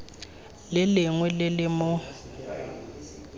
le lengwe le le mo